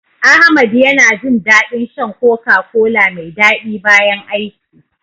Ahmad yana jin daɗin shan "Coca-Cola" mai daɗi bayan aiki.